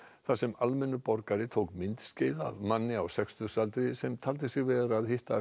þar sem almennur borgari tók myndskeið af manni á sextugsaldri sem taldi sig vera að hitta